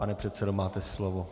Pane předsedo, máte slovo.